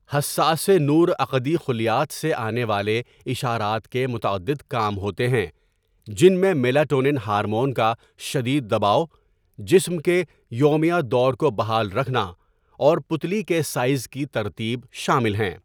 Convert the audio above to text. حساسِ نور عقدی خلیات سے آنے والے اشارات کے متعدد کام ہوتے ہیں جن میں میلاٹونن ہارمون کا شدید دباو، جسم کے یومیہ دور کو بحال رکھنا اور پُتلی کے سائز کی ترتیب شامل ہیں۔